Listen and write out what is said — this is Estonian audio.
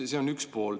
See on üks pool.